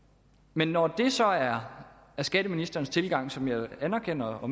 men når det så er skatteministerens tilgang som jeg anerkender og